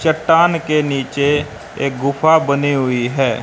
चट्टान के नीचे एक गुफा बनी हुई है।